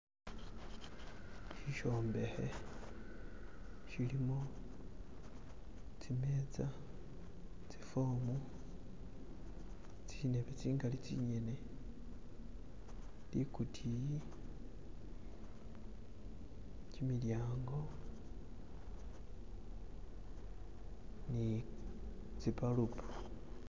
Shisombekhe shilimo tsimeza ,tsifomu, tsindebe tsingali tsingene, likutiyi, kimilyango ni tsi balubu